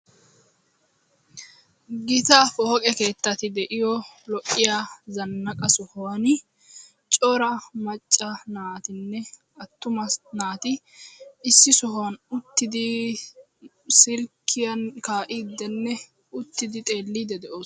Gita pooqe keettatti de'iyo lo'iya zannaqqa sohuwani cora macca naatinne attuma naati issi sohuwan uttidi silkkiyan kaa'iiddenne uttidi xeelliddi de'oosona.